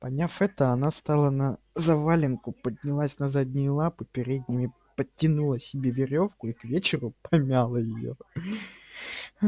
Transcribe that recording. поняв это она стала на завалинку поднялась на задние лапы передними подтянула себе верёвку и к вечеру помяла её